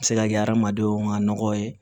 A bɛ se ka kɛ adamadenw ŋa nɔgɔ ye